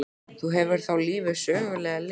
Þú hefur þá lifað sögulegu lífi?